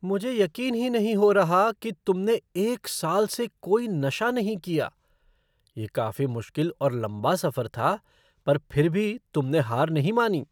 मुझे यकीन ही नहीं हो रहा कि तुमने एक साल से कोई नशा नहीं किया! ये काफी मुश्किल और लंबा सफर था, पर फिर भी तुमने हार नहीं मानी!